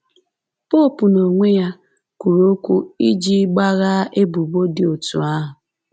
Popu n’onwe ya kwuru okwu iji gbaghaa ebubo dị otú ahụ